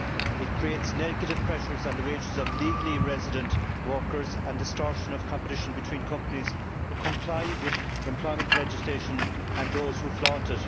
It creates negative pressures on the wages of legally resident workers and distortion of competition between companies that comply with employment legislation and those who flaunt it.